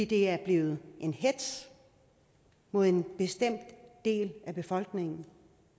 det er blevet en hetz mod en bestemt del af befolkningen